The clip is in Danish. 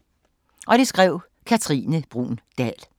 Af Katrine Bruun Dahl